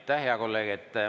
Aitäh, hea kolleeg!